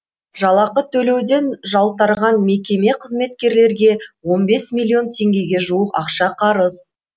жалақы төлеуден жалтарған мекеме қызметкерлерге он бес миллион теңгеге жуық ақша қарыз